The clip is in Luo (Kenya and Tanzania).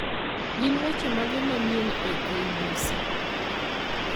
Gin weche mage manyien e k. b. c.